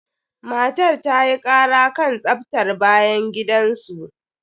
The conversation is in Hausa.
Matar ta yi ƙara kan tsaftar bayan gidan su.